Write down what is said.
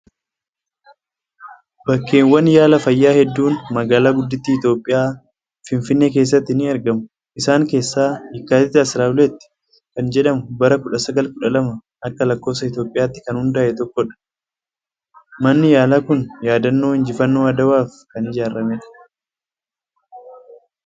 Bakkeewwan yaala fayyaa hedduun magaalaa guddittii Itoophiyaa, Finfinnee keessatti ni argamu. Isaan keessaa Yeekkaatit 12 kan jedhamu, bara 1912 akka lakkoofsa Itoophiyaatti kan hundaa'e tokkodha. Manni yaalaa kun yaadannoo injifannoo Adawaaf kan ijaaramedha.